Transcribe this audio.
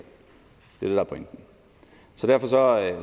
er pointen derfor